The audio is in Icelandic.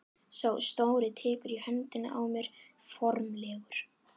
Sá stóri tekur í höndina á mér formlegur.